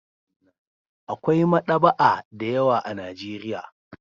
Akwai maɗaba'a da yawa a Najeiya.